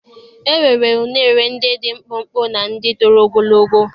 E nwere uṅere ndị dị mkpụmkpụ na ndị toro ogologo.